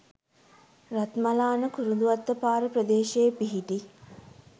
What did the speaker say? රත්මලාන කුරුඳුවත්ත පාර ප්‍රදේශයේ පිහිටි